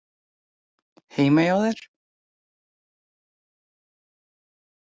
Heima hjá þér?